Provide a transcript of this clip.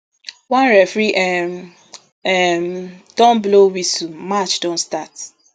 one referee um um don blow whistle match don start